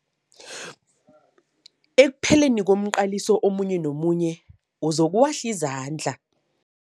Ekupheleni komqaliso omunye nomunye uzokuwahla izandla.